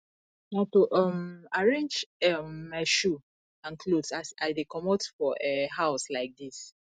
na to um arrange um my shoe and clothe as i dey comot for um house like dis